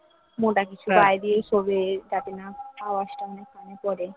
মোটা কিছু গায়ে দিয়ে শোবে যাতে না আওয়াজ টা আমার কানে পড়ে